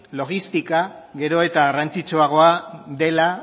logistika gero eta garrantzitsuagoa dela